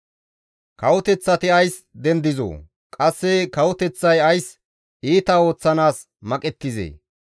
Kawoteththati ays dendizoo? Qasse kawoteththay ays iita ooththanaas maqettizee?